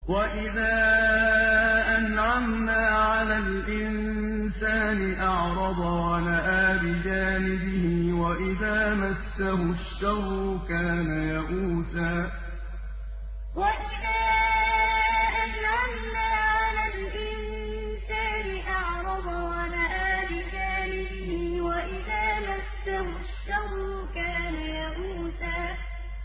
وَإِذَا أَنْعَمْنَا عَلَى الْإِنسَانِ أَعْرَضَ وَنَأَىٰ بِجَانِبِهِ ۖ وَإِذَا مَسَّهُ الشَّرُّ كَانَ يَئُوسًا وَإِذَا أَنْعَمْنَا عَلَى الْإِنسَانِ أَعْرَضَ وَنَأَىٰ بِجَانِبِهِ ۖ وَإِذَا مَسَّهُ الشَّرُّ كَانَ يَئُوسًا